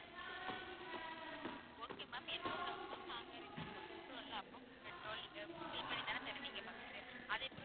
okay ma'am இன்னொரு doubt ma'am நாங்க return கொண்டு விடுறோம்ல அப்போ petrol நீங்க fill பண்ணி தான் தருவிங்க first உ அதேபோல